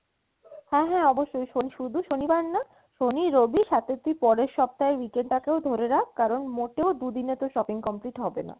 হ্যাঁ হ্যাঁ অবশ্যই শুধু শনিবার না শনি রবি সাথে তুই পরের সপ্তাহর weekend টা কেও ধরে রাখ কারন মোটেও দুদিনে তোর shopping complete হবেনা।